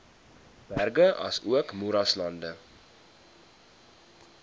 berge asook moeraslande